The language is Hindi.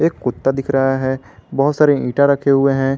कुत्ता दिख रहा है बहुत सारे ईटा रखे हुए हैं।